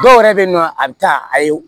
Dɔw yɛrɛ bɛ yen nɔ a bɛ taa a ye